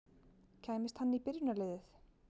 Kæmist hann í byrjunarliðið?